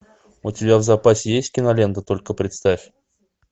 у тебя в запасе есть кинолента только представь